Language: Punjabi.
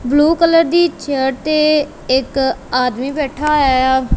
ਬਲੂ ਕਲਰ ਦੀ ਚੇਅਰ ਤੇ ਇੱਕ ਆਦਮੀ ਬੈਠਾ ਹੋਇਆ ਆ।